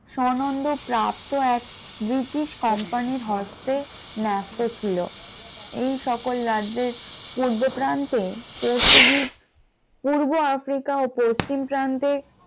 সানন্দ প্রাপ্ত এক British company র হস্তে নেস্ত ছিল এই সকল রাজ্যের পূর্ব প্রান্তে পর্তুগিজ পূর্ব আফ্রিকা ও পশ্চিম প্রান্তে,